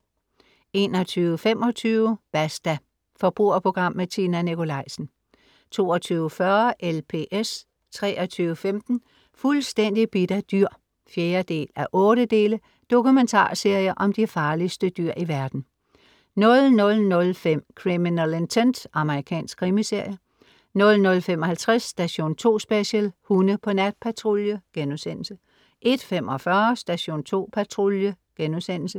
21.25 Basta. forbrugerprogram med Tina Nikolaisen 22.40 LPS 23.15 Fuldstændig bidt af dyr 4:8 dokumentarserie om de farligste dyr i verden 00.05 Criminal Intent. amr. krimiserie 00.55 Station 2 Special: Hunde på natpatrulje* 01.45 Station 2 Patrulje*